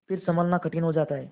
फिर सँभलना कठिन हो जाता है